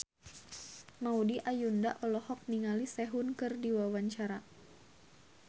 Maudy Ayunda olohok ningali Sehun keur diwawancara